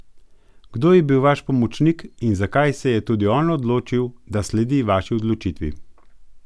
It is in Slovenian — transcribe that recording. Kdo je bil vaš pomočnik in zakaj se je tudi on odločil da sledi vaši odločitvi?